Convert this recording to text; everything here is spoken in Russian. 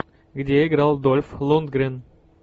где играл дольф лундгрен